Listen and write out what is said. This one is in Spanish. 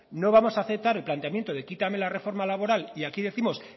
no vamos a aceptar el planteamiento de quítame la reforma laboral y aquí décimos